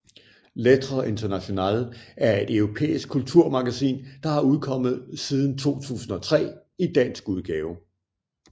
Lettre Internationale er et europæisk kulturmagasin der har udkommet siden 2003 i dansk udgave